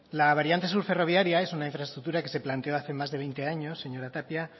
la variante sur ferroviaria es una infraestructura que se planteó hace más de veinte años señora tapia